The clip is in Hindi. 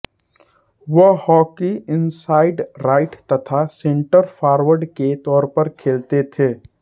वह हॉकी इनसाइड राइट तथा सेंटर फारवर्ड के तौर पर खेलते थे